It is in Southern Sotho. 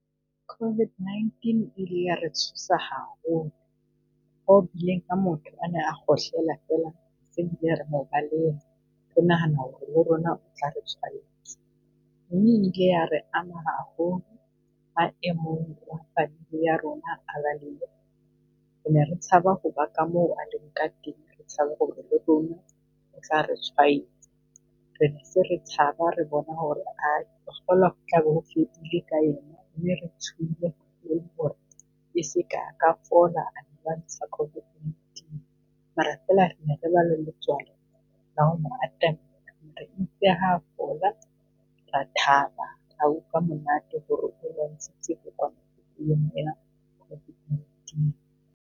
COVID-19 ile ya re tshosa haholo ho bileng ha motho ane a kgohlela fela se re bile re mo baleha, re nahana ho re le rona o tla re tshwahetsa. Mme e ile ya re ama haholo maemong ya rona re ne tshaba ho ba ka moo a le ka teng, re tshaba ho re re tshwaetsa. Re ne se re tshaba re bona ho re tla be ho fedile ka yena. Se ka a ka fola a e lwantsha covid nineteen, mare fela ne re ba le letswalo la ho mo atamela fola ra thaba, ra utlwa monate .